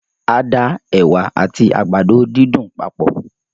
A da ẹwà àti àgbàdo dídùn papọ̀